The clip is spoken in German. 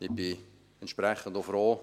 Ich bin entsprechend auch froh.